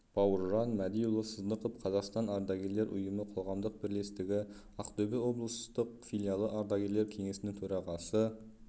бауыржан мәдиұлы сыздықов қазақстан ардагерлер ұйымы» қоғамдық бірлестігі ақтөбе облыстық филиалы ардагерлер кеңесінің төрағасы